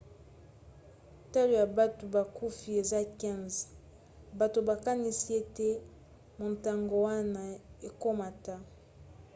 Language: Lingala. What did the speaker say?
talo ya bato bakufi eza 15 bato bakanisi ete motango wana ekomata